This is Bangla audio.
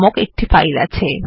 নামক একটি ফাইল আছে